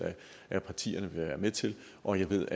af partierne vil være med til og jeg ved